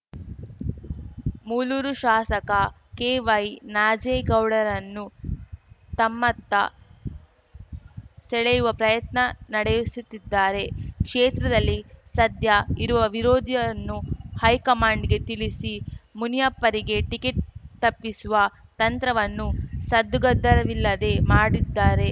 ಮೂಲೂರು ಶಾಸಕ ಕೆವೈನಾಜೇಗೌಡರನ್ನು ತಮ್ಮತ್ತ ಸೆಳೆಯುವ ಪ್ರಯತ್ನ ನಡೆಸುತ್ತಿದ್ದಾರೆ ಕ್ಷೇತ್ರದಲ್ಲಿ ಸದ್ಯ ಇರುವ ವಿರೋಧೀಯವನ್ನು ಹೈಕಮಾಂಡ್‌ಗೆ ತಿಳಿಸಿ ಮುನಿಯಪ್ಪರಿಗೆ ಟಿಕೆಟ್‌ ತಪ್ಪಿಸುವ ತಂತ್ರವನ್ನು ಸದ್ದುಗದ್ದಲವಿಲ್ಲದೆ ಮಾಡಿದ್ದಾರೆ